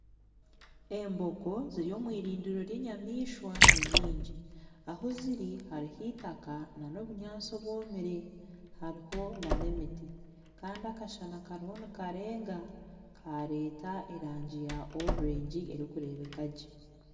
Embogo ziri omwirindiro ry'enyamaishwa ninyingi ahuziri hariho eitaka nana obunyatsi obwomire hariho nana emiti Kandi akashana kariho nikarenga kareeta erangi ya orurwengi erikureebeka gye